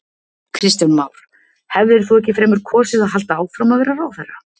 Kristján Már: Hefðir þú ekki fremur kosið að halda áfram að vera ráðherra?